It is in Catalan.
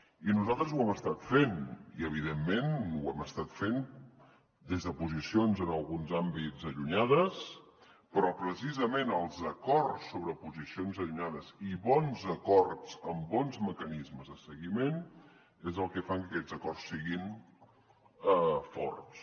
i nosaltres ho hem estat fent i evidentment ho hem estat fent des de posicions en alguns àmbits allunyades però precisament els acords sobre posicions allunyades i bons acords amb bons mecanismes de seguiment és el que fa que aquests acords siguin forts